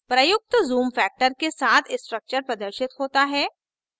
प्रयुक्त zoom factor के साथ structure प्रदर्शित होता है